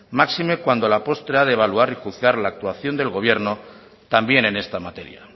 máxime cuando a la postre a de evaluar y juzgar la actuación del gobierno también en esta materia